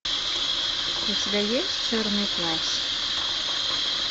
у тебя есть черный плащ